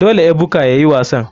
Dole ebuka yayi wasan.